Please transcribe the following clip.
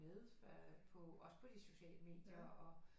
Men på også på de sociale medier og